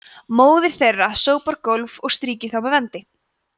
móðir þeirra sópar gólf og strýkir þá með vendi